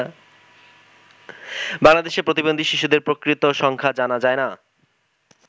বাংলাদেশে প্রতিবন্ধী শিশুদের প্রকৃত সংখ্যা জানা যায় না।